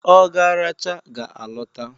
Ogaracha ga a lota.